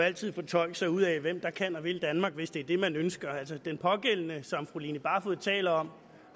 altid fortolke sig ud af hvem der kan og vil danmark hvis det er det man ønsker den pågældende som fru line barfod taler om